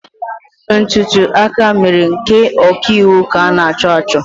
Ntùtù akamèrè nke ọ̀kiīwū ka an'acho acho.